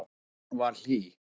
Hún var hlý.